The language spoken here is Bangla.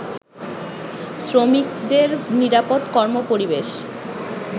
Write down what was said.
শ্রমিকদের নিরাপদ কর্মপরিবেশ